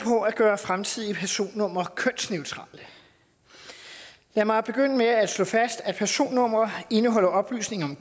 på at gøre fremtidige personnumre kønsneutrale lad mig begynde med at slå fast at personnumre indeholder oplysninger